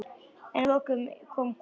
En að lokum kom kona.